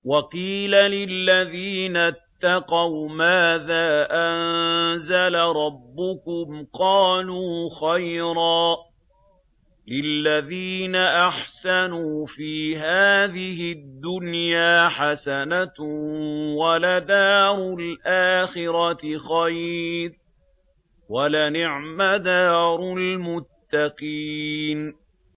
۞ وَقِيلَ لِلَّذِينَ اتَّقَوْا مَاذَا أَنزَلَ رَبُّكُمْ ۚ قَالُوا خَيْرًا ۗ لِّلَّذِينَ أَحْسَنُوا فِي هَٰذِهِ الدُّنْيَا حَسَنَةٌ ۚ وَلَدَارُ الْآخِرَةِ خَيْرٌ ۚ وَلَنِعْمَ دَارُ الْمُتَّقِينَ